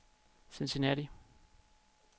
Cincinnati